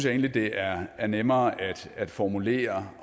egentlig det er er nemmere at formulere